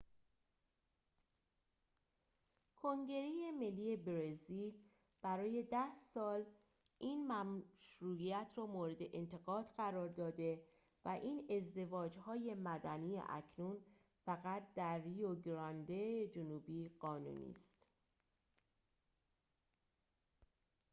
کنگره ملی برزیل برای ۱۰ سال این مشروعیت را مورد انتقاد قرار داده و این ازدواج‌های مدنی اکنون فقط در ریو گرانده جنوبی قانونی است